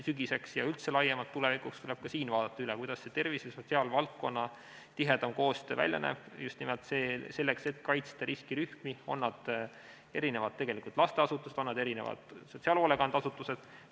Sügiseks ja üldse tulevikuks tuleb vaadata üle, kuidas tervishoiu- ja sotsiaalvaldkonna tihedam koostöö välja näeb, just nimelt selleks, et kaitsta riskirühmi, on need siis lasteasutused või on need sotsiaalhoolekandeasutused.